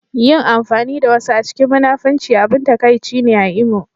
Yin amfani da wasu a cikin munafunci abin takaici ne a Imo